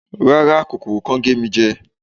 rara, kòkòrò ko ge mi je